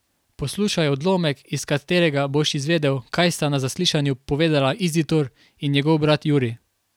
Poslušaj odlomek, iz katerega boš izvedel, kaj sta na zaslišanju povedala Izidor in njegov brat Jurij.